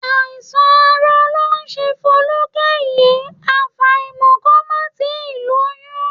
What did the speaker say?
Àìsàn àárọ̀ ló ń ṣe Folúkẹ́ yìí, àfàìmọ̀ kó má ti lóyún